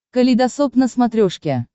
калейдосоп на смотрешке